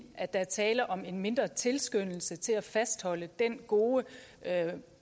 at der er tale om en mindre tilskyndelse til at fastholde den gode